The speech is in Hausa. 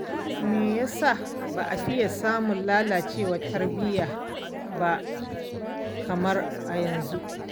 Me ya sa ba a fiye samun lallacewar tarbiyya ba kamar a yanzu.